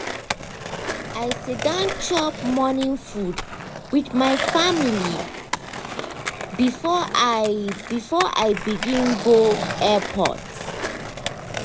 i sit down chop morning food with my family before i before i begin go um airport